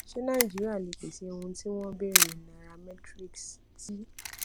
ṣé nàìjíríà lè pèsè ohun tí wọn ń béèrè nairametrics ti